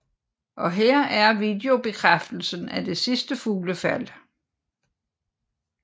Og her er videobekræftelsen af det sidste fuglefald